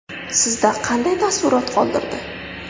Sizda qanday taassurot qoldirdi?